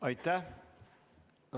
Aitäh!